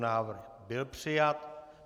Návrh byl přijat.